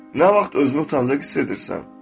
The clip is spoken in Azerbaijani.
Nə vaxt özünü utancaq hiss edirsən?